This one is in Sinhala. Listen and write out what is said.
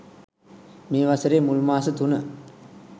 මේ වසරේ මුල් මාස තුන